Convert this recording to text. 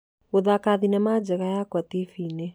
gũthaaka thenema njega yakwa TV -inĩ